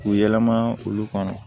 K'u yɛlɛma olu kɔnɔ